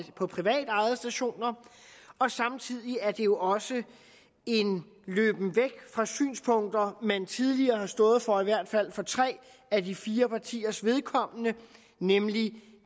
på privatejede stationer og samtidig er det jo også en løben væk fra synspunkter man tidligere har stået for i hvert fald for tre af de fire partiers vedkommende nemlig